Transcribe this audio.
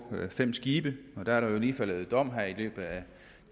fem skibe der er jo lige faldet dom her i løbet af